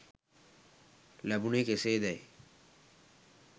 ලැබුණේ කෙසේදැයි